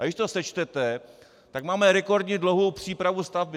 A když to sečtete, tak máme rekordně dlouhou přípravu stavby.